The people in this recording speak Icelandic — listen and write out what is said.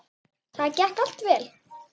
Það gekk allt vel.